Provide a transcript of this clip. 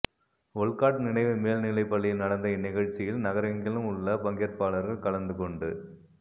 Olcott நினைவு மேல் நிலைப் பள்ளியில் நடந்த இந்நிகழ்ச்சியில் நகரெங்கிலும் உள்ள பங்கேற்பாளர்கள் கலந்துகொண்டு